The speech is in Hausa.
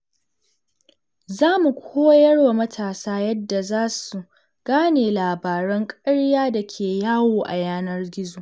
Za mu koyar wa matasa yadda za su gane labaran ƙarya da ke yawo a yanar gizo.